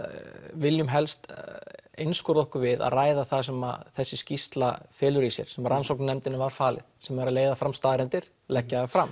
viljum helst einskorða okkur við að ræða það sem þessi skýrsla felur í sér sem rannsóknarnefndininni var falið sem er að leiða fram staðreyndir leggja þær fram